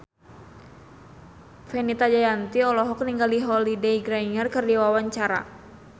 Fenita Jayanti olohok ningali Holliday Grainger keur diwawancara